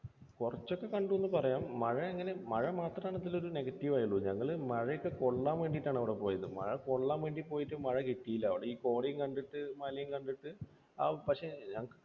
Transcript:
കുറച്ചൊക്കെ കണ്ടു എന്നു പറയാം. മഴ, മഴ മാത്രമാണ് അതിലൊരു negative ആയുള്ളൂ. ഞങ്ങൾ മഴയൊക്കെ കൊള്ളാൻ വേണ്ടിയിട്ടാണ് അവിടെ പോയത് മഴ കൊള്ളാൻ വേണ്ടി പോയിട്ട് മഴ കിട്ടിയില്ല. അവിടെ ഈ കോടയും കണ്ടിട്ട് മലയും കണ്ടിട്ട്